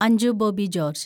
Anju Bobby George